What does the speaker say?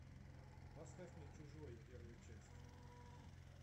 поставь мне чужой первая часть